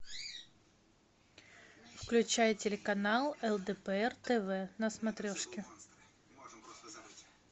включай телеканал лдпр тв на смотрешке